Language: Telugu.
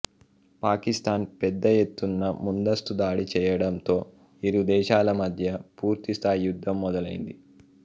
పాకిస్తాన్ పెద్ద ఎత్తున ముందస్తు దాడి చెయ్యడంతో ఇరు దేశాల మధ్య పూర్తి స్థాయి యుద్ధం మొదలైంది